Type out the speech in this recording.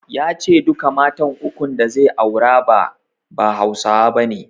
Ya ce duka matan uku da zai aura ba, ba Hausawa bane.